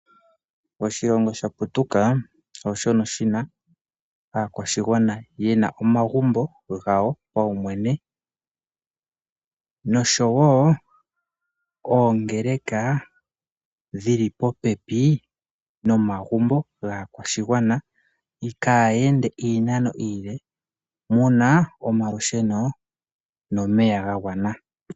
Oshilongo shaputuka ooshono shina omagumbo gawo kuyoyene noshowo oongeleka dhili popepi nomagumbo gaakwashigwana kayende iinano iile, muna omalusheno nomeya gagwana.